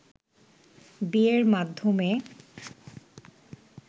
বিয়ের মাধ্যমে